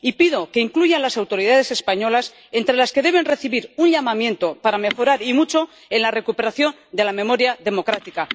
Y pido que incluya a las autoridades españolas entre las que deben recibir un llamamiento para mejorar, y mucho, en la recuperación de la memoria democrática.